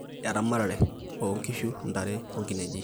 eramatare:nkishu, ntare oo nkineji